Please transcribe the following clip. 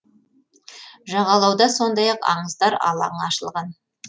жағалауда сондай ақ аңыздар алаңы ашылған